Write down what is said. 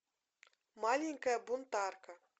маленькая бунтарка